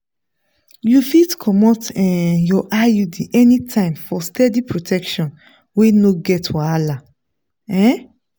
you fit comot um your iud anytime for steady protection wey no get wahala. um